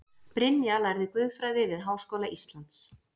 Brynja lærði guðfræði við Háskóla Íslands